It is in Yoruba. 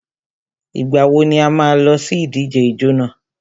Ìgbà wo ni a má a lọ sí ìdíje ijó nà?